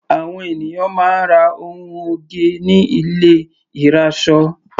Àwọn ènìyàn máa ń ra ohun oge ní ilé ìrasọ.